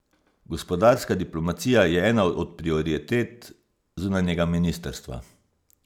Gospodarska diplomacija je ena od prioritet zunanjega ministrstva.